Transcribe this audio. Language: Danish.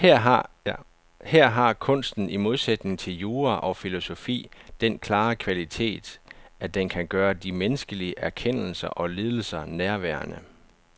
Her har kunsten i modsætning til jura og filosofi den klare kvalitet, at den kan gøre de menneskelige erkendelser og lidelser nærværende.